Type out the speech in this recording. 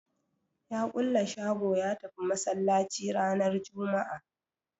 Ya kulle shago ya tafi Masallaci ranar Jumma'a